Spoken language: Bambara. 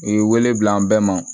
U ye wele bila an bɛɛ ma